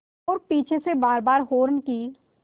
और पीछे से बारबार हार्न की